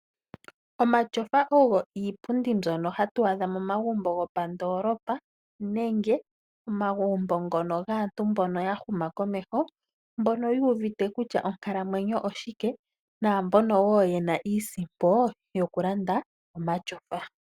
Omatyofa ogo iipundi mbyono hatu adha momagumbo gopandoolopa nenge momagumbo ngono gaantu mbono ya huma komeho mbono yuuvite kutya onkalamwenyo oshike. Naambono wo yena iisimpo yokulanda omatyofa.